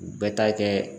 U bɛɛ ta kɛ